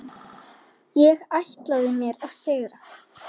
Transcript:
Ég ætlaði mér að sigra.